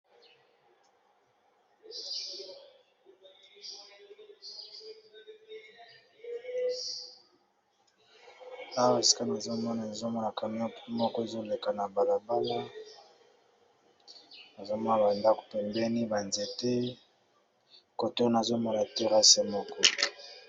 awa esikani ezomona ezomona kamea mpo moko ezoleka na balabana ezomona bandako pembeni banzete kotona azomona terase moko